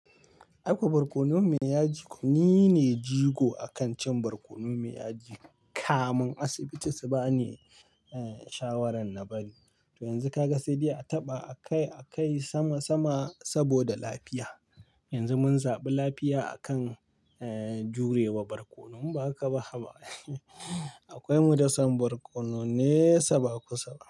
Aikuwa barkono me ya ji ni ne jigo a kan cin barkonon me ya ji kamun asibiti, su ba ni, eh, shawaran na bari. To yanzu ka ga sai dai a taɓa a kai a kai sama sama saboda lafiya. Yanzu mun zaɓi lafiya a kan, eh, jure wa barkono inba haka ba haba Akwai mu dason barkono ne! Sa ba kusaba.